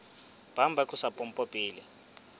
bang ba tlosa pompo pele